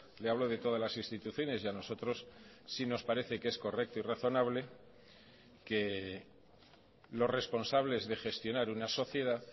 le hablo de todas las instituciones y a nosotros sí nos parece que es correcto y razonable que los responsables de gestionar una sociedad